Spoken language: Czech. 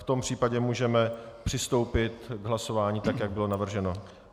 V tom případě můžeme přistoupit k hlasování tak, jak bylo navrženo.